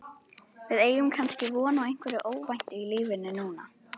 Við eigum kannski von á einhverju óvæntu í lífinu núna?